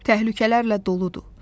Təhlükələrlə doludur.